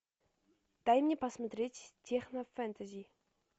дай мне посмотреть технофэнтези